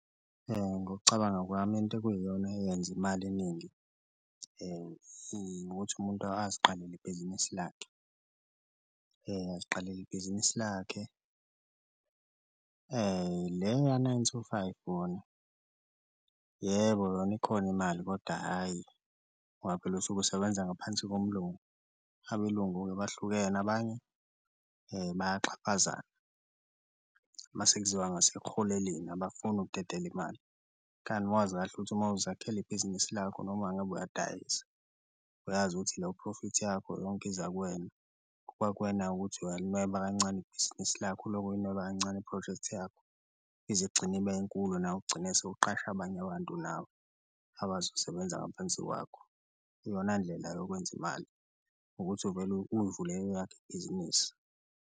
Ngokucabanga kwami into okuyiyona yenza imali eningi ukuthi umuntu aziqalele ibhizinisi lakhe, aziqalele ibhizinisi lakhe le ya-nine to five wona yebo yona ikhona imali koda hhayi, ngoba phela usuke usebenza ngaphansi kumlungu, abelungu-ke bahlukene abanye bayaxhaphazana uma sekuziwa ngasekuholeleni abafuni ukudedela imali. Kanti uma wazi kahle ukuthi uma uzakhela ibhizinisi lakho noma ngabe uyadayisa, uyazi ukuthi leyo profit yakho yonke iza kuwena, kuba kuwena-ke ukuthi uyalinweba kancane ibhizinisi lakho, ulokhu ulinweba kancane iphrojekthi yakho ize igcine ibe nkulu nawe ugcine sewuqasha abanye abantu nawe abazosebenza ngaphansi kwakho. Iyona ndlela yokwenza imali ukuthi uvele uyivulele eyakho ibhizinisi.